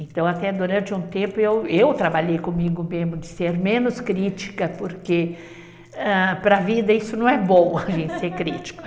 Então, até durante um tempo, eu trabalhei comigo mesmo de ser menos crítica, porque, ah, para a vida isso não é bom, a gente ser crítico.